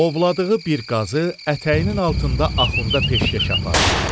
Ovladığı bir qazı ətəyinin altında Axunda peşkəş apardı.